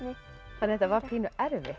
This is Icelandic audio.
þetta var pínu erfitt